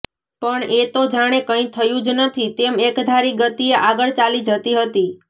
પણ એ તો જાણે કંઈ થયું જ નથી તેમ એકધારી ગતિએ આગળ ચાલી જતી હતી